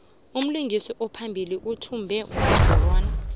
umlingisi ophambili uthmba unongorwana